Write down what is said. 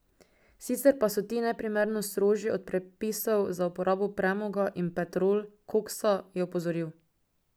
Sicer pa so ti neprimerno strožji od predpisov za uporabo premoga in petrol koksa, je opozoril.